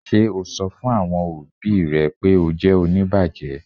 Ṣe o sọ̀ fún awọn ọbì rẹ̀ pe o jẹ́ oníbàjẹ̀?